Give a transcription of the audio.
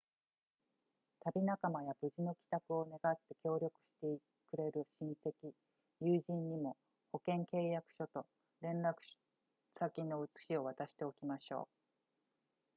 旅仲間や無事の帰宅を願って協力してくれる親戚友人にも保険契約書と連絡先の写しを渡しておきましょう